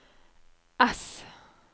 S